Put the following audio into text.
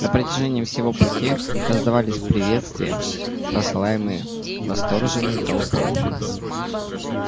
на протяжении всего пути раздавались приветствия посылаемые восторженной толпой